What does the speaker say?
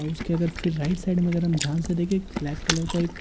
उसके अगर फिर राइट साइड में अगर हम ध्यान से देखें ब्लैक कलर का एक--